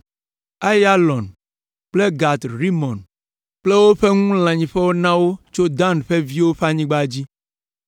Aiyalon kple Gat Rimon kple wo ŋu lãnyiƒewo na wo tso Dan ƒe viwo ƒe anyigba dzi.